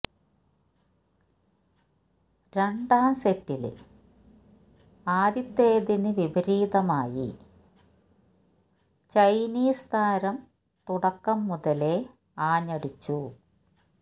രണ്ടാം സെറ്റില് ആദ്യത്തേതിന് വിപരീതമായി ചൈനീസ് താരം തുടക്കം മുതലേ ആഞ്ഞടിച്ചു